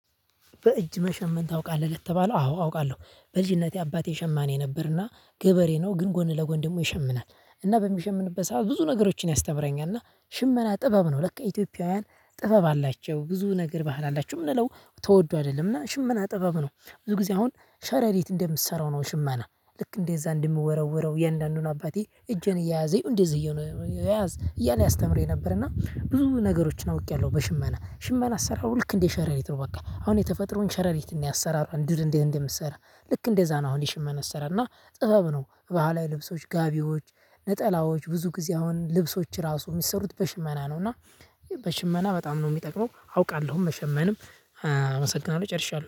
በእጅ መሸመን ታውቃለህ ለተባለው አዎ አውቃለሁ በልጅነቴ አባቴ ሸማኔ ነበርና ገበሬ ነው ግን ጎን ለጎን ደግሞ ይሸምናል እና በሚሸምንበት ሰዓት ብዙ ነገሮችን ያስተምረኛል እና ሽመና ጥበብ ነው ለካ ኢትዮጵያውያን ጥበብ አላቸው ብዙ ነገር ባህል አላቸው ምንለው ተወዱ አይደለምና ሽመና ጥበብ ነው ብዙ ጊዜ አሁን ሸረሪት እንደምትሰራው ነው ሽማና ልክ እንደዛ እንደምወረውረው የእንዳንዱን አባቴ እጄን እየያዘኝ እንደዚህ እየያዘኝ እያለ አስተምሮኝ ነበርና ብዙ ነገሮችን አውቄያለሁ በሽመና ሽመና አሰራሩ ልክ እንዴ ሸረሪት ነው በቃ አሁን የተፈጥሮ ሸረሪት እኔ አሰራር እንድር እንደምሰራ ልክ እንደዛ ነው። አሁን የሽመና ስራ እና ጥበብ ነው ባህላዊ ልብሶች ጋቢዎች ነጠላዎች ብዙ ጊዜ አሁን ልብሶች ራሱ የሚሰሩት በሽመና ነው። እና በሽመና በጣም ነው የሚጠቅመው አውቃለሁም መሸመንም አመሰግናለሁ ጨርሻለሁ